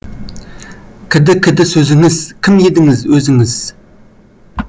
кіді кіді сөзіңіз кім едіңіз өзіңіз